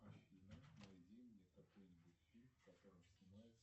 афина найди мне какой нибудь фильм в котором снимается